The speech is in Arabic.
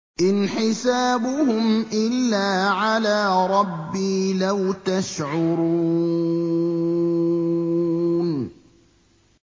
إِنْ حِسَابُهُمْ إِلَّا عَلَىٰ رَبِّي ۖ لَوْ تَشْعُرُونَ